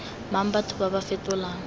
mang batho ba ba fetolang